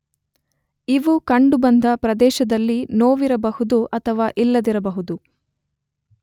ಇವು ಕಂಡುಬಂದ ಪ್ರದೇಶದಲ್ಲಿ ನೋವಿರಬಹುದು ಅಥವಾ ಇಲ್ಲದಿರಬಹುದು